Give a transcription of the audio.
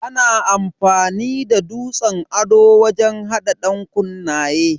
Ana amfani da dutsen ado wajen hada dankunnaye.